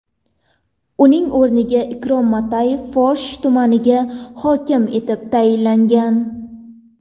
Uning o‘rniga Ikrom Matiyev Forish tumaniga hokim etib tayinlangan .